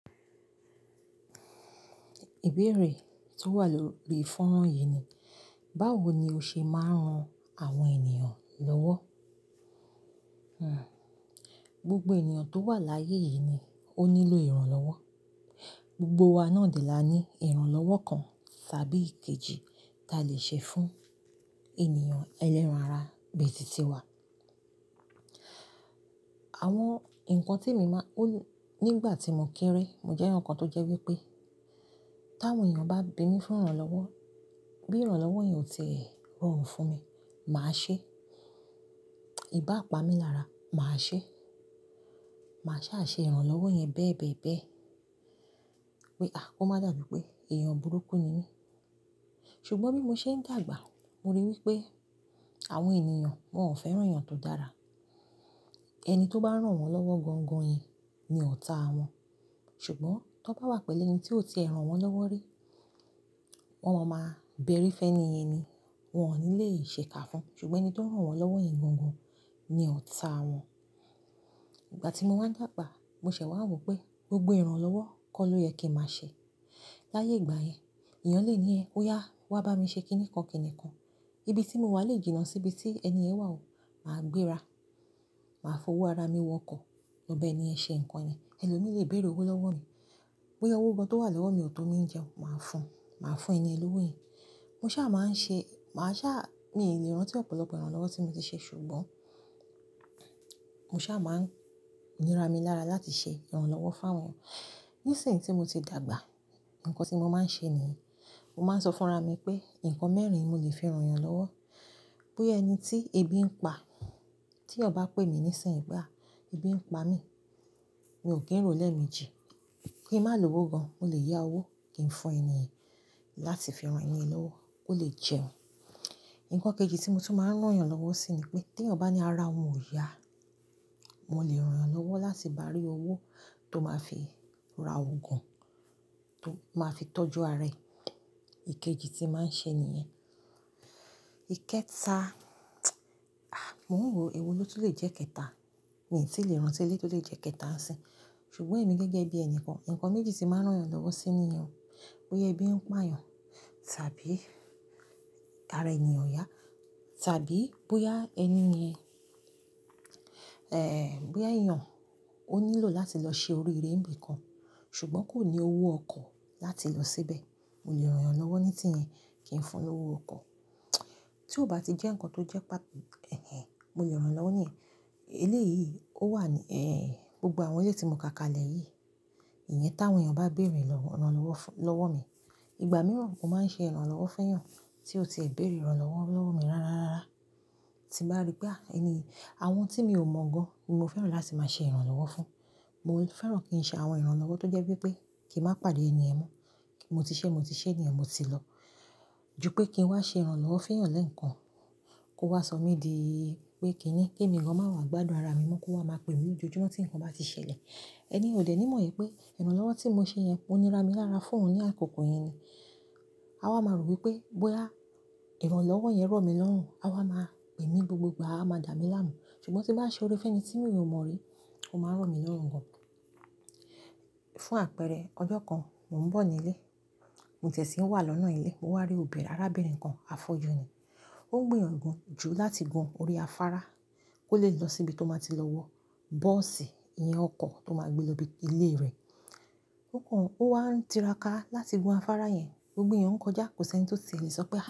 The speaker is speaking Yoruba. Ìbéèrè tí ó wà lórí ifọ́nra yìí ni, báwo ni o ṣe máa ń ran àwọn ènìyàn lọ́wọ́? Hmmm gbogbo ènìyàn tó wà láyé yìí ni ó nílò ìrànlọ́wọ́. Gbogbo wa náà dì lá ní ìrànlọ́wọ́ kan tàbí kejì tí a lè ṣe fún ènìyàn ẹlẹ́ran ara ibi títi wa. Àwọn ǹkan tí èmi máa, nígbà tí mo kéré, mo jẹ́ ẹni kan tó jẹ́ wípé, tí àwọn ènìyàn bá bi mí fún ìrànlọ́wọ́, bí ìrànlọ́wọ́ yẹn ò tí rọrùn fún mi, màá ṣe. Í bá pa mí lára, màá ṣe. Màá sá ṣe ìrànlọ́wọ́ yẹn bẹ́ẹ̀ bẹ́ẹ̀ bẹ́ẹ̀, pé a kó má dàbí pé èèyàn burúkú ni mí. Ṣùgbọ́n bí mo ṣe ń dàgbà, mo ríi wípé àwọn ènìyàn, wọ́n ò fẹ́ràn èèyàn tó dára. Ẹni tó bá rán wọ́n lọ́wọ́ gangan ni ọ̀tá wọn. Ṣùgbọ́n tó bá wà pẹ̀lú ẹni tí ó ti ẹran wọ́n lọ́wọ́ rí, wọ́n máa máa bẹ́rí fẹ́ni ẹni, wọ́n ò ní lè ṣè ká fún. Ṣùgbọ́n ẹni tó rán wọ́n lọ́wọ́ yẹn gangan ni ọ̀tá wọn. Ìgbà tí mo máa ń dàgbà, mo ṣẹ̀ wá wò pé gbogbo ìrànlọ́wọ́ kọ́ lọ yẹ kí màá ṣe. Láàyè ìgbà yẹn, èèyàn lè ní ẹ, "Ó yá, wá bá mi ṣe kíníkan kíníkan." Ibi tí mo wà lè jìnnà sí ibi tí ẹni yẹn wà ó, màá gbéra. Màá fowó ara mi wọkọ̀ lọ bẹ́ẹ̀ ni ẹ ṣe ǹkan yẹn. Ẹlòmíì lè béèrè owó lọ́wọ́ mi. Bóyá owó gan tó wà lọ́wọ́ mi ò tó mi ń jẹun, màá fún un. Màá fún ẹni yẹn lówó yẹn. Mo sá máa ń ṣe, màá sá, mi ò lè rántí ọ̀pọ̀lọpọ̀ ìrànlọ́wọ́ tí mo ti ṣe, ṣùgbọ́n mo sá máa ń nira mi lára láti ṣe ìrànlọ́wọ́ fún àwọn. Nísìn tí mo ti dàgbà, ǹkan tí mo máa ń ṣe nìyí. Mo máa ń sọ fún ara mi pé, ǹkan mẹ́rin mo lè fi ran ènìyàn lọ́wọ́. Bí ẹni tí ebi ń pa, tí ènìyàn pè mí nísìnyí pé ebi ń pa mí, mi ò kì í ro lẹ́ẹ̀mejì. Kí màá lo owó gan, mo lè yá owó kí n fún ẹni yẹn láti fi ràn ẹni yẹn lọ́wọ́ kó lè jẹun. Ǹkan kejì tí mo tún máa ń rán èèyàn lọ́wọ́ sí ni pé, tí ènìyàn bá ní ara òun ò yá, mo lè rán an lọ́wọ́ láti bá rí owó tó máa fi ra oògùn tó máa fi tọ́jú ara ẹ̀. Ikeji tí màá ń ṣe nìyẹn. Ikẹta, a mọ̀ n wo, èwo ló tún lè jẹ́ kẹta? Mi tí ì lè rántí eléyìí tó lè jẹ́ kẹta ńsìn. Ṣùgbọ́n èmi gẹ́gẹ́ bí ẹni kan, ǹkan méjì tí màá ń rán èèyàn lọ́wọ́ sí ni yẹn. Bóyá ẹbí ń pa èèyàn tàbí ara ẹni yẹn ò yá tàbí bóyá ẹni yẹn. Bóyá èèyàn ó nílò láti lọ ṣe orí eré ńbí kan, ṣùgbọ́n kò ní owó ọkọ̀ láti lọ síbẹ̀, mo lè rán an lọ́wọ́ ní tí yẹn kí n fún un lówó ọkọ̀. Tí ó bá ti jẹ́ ǹkan tó jẹ́ pàto èhè, mo lè rán èèyàn lọ́wọ́ ní yẹn, eléyìí ó wà ní, gbogbo àwọn ilé tí mo ka kalẹ̀ yìí, ìyẹn tí àwọn èèyàn bá béèrè lọ́, ìrànlọ́wọ́ fún lọ́wọ́ mi. Ìgbà mìíràn mo máa ń ṣe ìrànlọ́wọ́ fún èèyàn tí ò ti béèrè ìrànlọ́wọ́ lọ́wọ́ mi rárárárá. Tí mo bá rí pé a ẹni yìí, àwọn tí mi ò mọ̀ gan ni mo fẹ́ràn láti máa ṣe ìrànlọ́wọ́ fún. Mo fẹ́ràn kí n ṣe àwọn ìrànlọ́wọ́ tó jẹ́ wípé kí màá pàdé ẹni yẹn mọ́. Mo ti ṣe, mo ti ṣe nìyẹn mo ti lọ. Jù pé kí n wá ṣe ìrànlọ́wọ́ fún èèyàn lẹ́ẹ̀kan kó wá sọ̀ mí di pé kíní, kí èmi gan màá wá gbádùn ara mi mọ́, kó wá máa pè mí lójoojúmọ́ tí ǹkan bá ti ṣẹlẹ̀. Ẹni ò dẹ̀ ní mọ̀ wípé, ìrànlọ́wọ́ tí mo ṣe yẹn mò ní ra mi lára fún òun ní àkókò yẹn ni. A wá máa rò wípé bóyá ìrànlọ́wọ́ yẹn rọ̀ mi lọ́rùn, a wá máa pè mí gbogbogbà, a máa dà mí láàmú. Ṣùgbọ́n tí bá ṣe ọ̀rẹ́ fún ẹni tí mi ò mọ̀ rí, ó máa rọ̀ mí lọ́rùn gan. Fún àpẹẹrẹ, ọjọ́ kan, mò ń bọ̀ nílé. Mo ti ẹ̀ sì ń wá lọ́nà ilé, mo wá rí obìnrin, arábìnrin kan afọ́jú ni. Ó ń gbé yan jù láti gun orí afárá kó lè lọ síbi tó máa ti lọ wọ bọ́ọ̀sì, iyan ọkọ̀ tó máa gbé lọ ibi ilé rẹ̀. Ó kan, ó wá ń tiraka láti gun afárá yẹn, gbogbo èèyàn ń kọjá, kò sì ẹni tó ti ẹ̀ lè sọ pé.